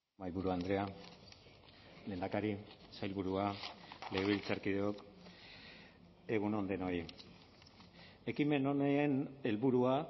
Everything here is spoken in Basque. mahaiburu andrea lehendakari sailburua legebiltzarkideok egun on denoi ekimen honen helburua